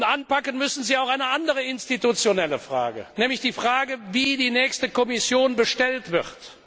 Anpacken müssen Sie auch eine andere institutionelle Frage, nämlich die Frage, wie die nächste Kommission bestellt wird.